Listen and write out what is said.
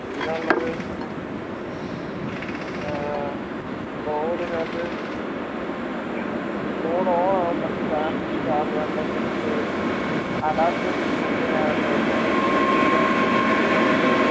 പിന്നള്ളത് air board നാത്ത് board on ആവും പക്ഷെ battery charge ആവും പക്ഷെ adapter ആവാത്തത് എന്ത് കൊണ്ട് issues വരുന്നോണ്ട്